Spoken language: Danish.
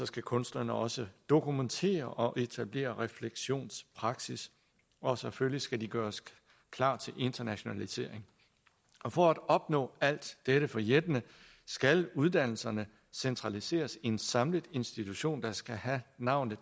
skal kunstnerne også dokumentere og etablere refleksionspraksis og selvfølgelig skal de gøres klar til internationalisering for at opnå alt dette forjættende skal uddannelserne centraliseres i en samlet institution der skal have navnet